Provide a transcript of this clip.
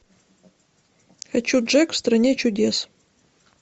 хочу джек в стране чудес